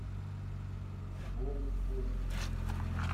бори козина